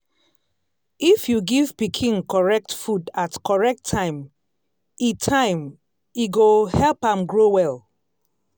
if you give pikin correct food at correct time e time e go help am grow well.